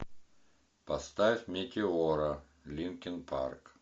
поставь метеора линкин парк